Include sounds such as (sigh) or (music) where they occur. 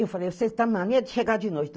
Eu falei, você está (unintelligible) de chegar de noite.